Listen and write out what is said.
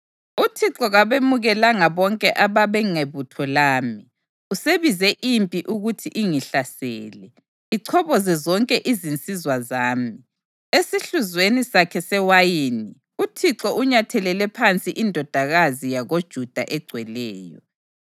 UThixo kabemukelanga bonke abangabebutho lami; usebize impi ukuthi ingihlasele, ichoboze zonke izinsizwa zami. Esihluzweni sakhe sewayini, uThixo unyathelele phansi iNdodakazi yakoJuda eGcweleyo.